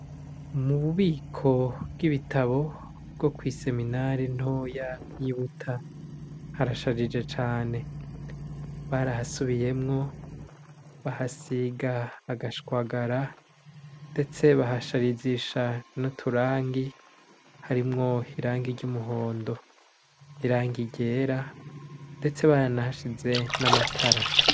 Mu bubiko bw'ibitabo bwo kw'iseminare ntoya y'i Buta, harashajije cane. Barahasubiyemwo, bahasiga agashwagara mbese bahasarizisha n'uturangi, harimwo irangi ry'umuhondo, irangi ryera, ndetse baranahashize n'amatara.